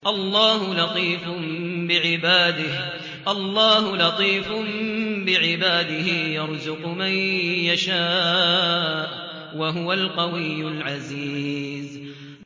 اللَّهُ لَطِيفٌ بِعِبَادِهِ يَرْزُقُ مَن يَشَاءُ ۖ وَهُوَ الْقَوِيُّ الْعَزِيزُ